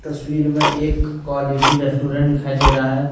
तस्वीर में एक क्वालिटी रेस्टोरेंट दिखाई दे रहा है।